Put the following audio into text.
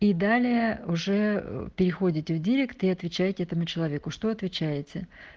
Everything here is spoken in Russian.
и далее уже ээ переходите в директ и отвечаете этому человеку что отвечаете